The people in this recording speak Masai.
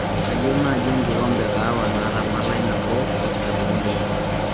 kayieu naaji enkikombe eeh kahawa naata malai nabo oo sukarini uni